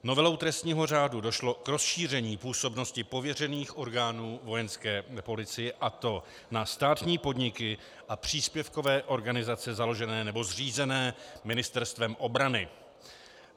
Novelou trestního řádu došlo k rozšíření působnosti pověřených orgánů Vojenské policie, a to na státní podniky a příspěvkové organizace založené nebo zřízené Ministerstvem obrany.